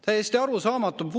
Täiesti arusaamatu!